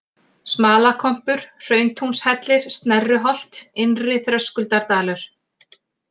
Smalakompur, Hrauntúnshellir, Snerruholt, Innri-Þröskuldardalur